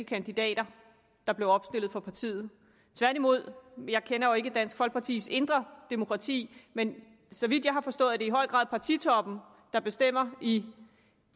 kandidater der blev opstillet for partiet tværtimod jeg kender jo ikke dansk folkepartis indre demokrati men så vidt jeg har forstået i høj grad partitoppen der bestemmer i